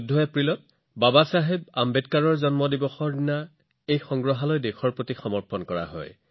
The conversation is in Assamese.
এই ১৪ এপ্ৰিলত বাবাচাহেব আম্বেদকাৰৰ জন্ম জয়ন্তী উপলক্ষে প্ৰধানমন্ত্ৰীৰ সংগ্ৰহালয় উদ্বোধন কৰা হৈছে